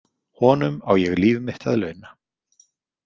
Honum á ég líf mitt að launa.